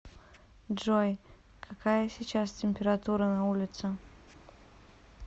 джой какая сейчас температура на улице